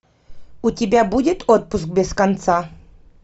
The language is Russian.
у тебя будет отпуск без конца